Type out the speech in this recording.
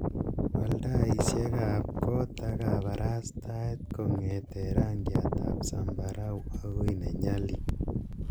wal taisiek ab koot ab kabarastaet konyeten rangiat ab zambarau agoi nenyalil